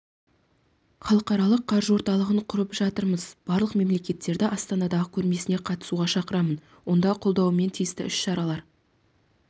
халықаралық қаржы орталығын құрып жатырмыз барлық мемлекеттерді астанадағы көрмесіне қатысуға шақырамын онда қолдауымен тиісті іс-шаралар